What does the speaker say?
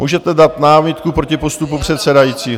Můžete dát námitku proti postupu předsedajícího.